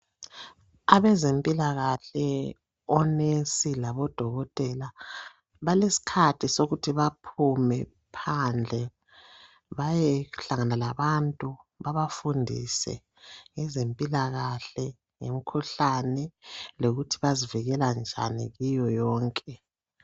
Abezempilakahle onesi labodokotela balesikhathi sokuthi baphume phandle bayehlangana labantu babafundise ngezempilakahle lemkhuhlane lokuthi bazivikela njani kuyo yonke.